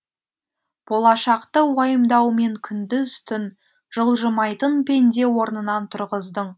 болашақты уайымдаумен күндіз түн жылжымайтын пенде орнынан тұрғыздың